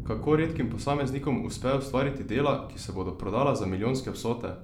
Kako redkim posameznikom uspe ustvariti dela, ki se bodo prodala za milijonske vsote?